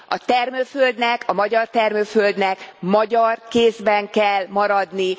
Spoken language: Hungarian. A termőföldnek, a magyar termőföldnek magyar kézben kell maradni!